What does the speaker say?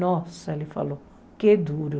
Nossa, ele falou, que duro.